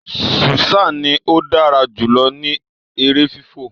Susan ní o dára jùlọ ní èrè fifọ